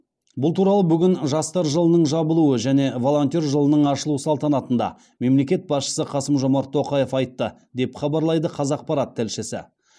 бұл туралы бүгін жастар жылының жабылуы және волонтер жылының ашылу салтанатында мемлекет басшысы қасым жомарт тоқаев айтты деп хабарлайды қазақпарат тілшісі